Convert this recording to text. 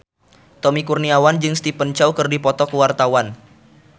Tommy Kurniawan jeung Stephen Chow keur dipoto ku wartawan